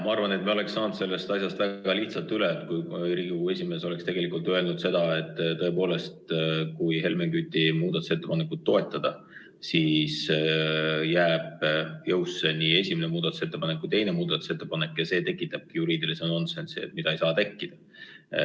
Ma arvan, et me oleks saanud sellest asjast väga lihtsalt üle, kui Riigikogu esimees oleks öelnud, et kui Helmen Küti muudatusettepanekut toetada, siis jäävad jõusse nii esimene kui teine muudatusettepanek ja see tekitaks juriidilise nonsensi, mida ei tohi tekkida.